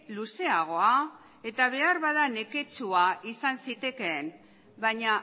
luzeagoa eta behar bada neketsua izan zitekeen baina